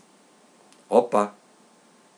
Opa!